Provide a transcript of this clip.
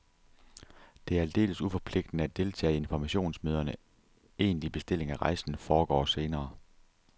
Det er aldeles uforpligtende at deltage i informationsmøderne, egentlig bestilling af rejsen foregår senere.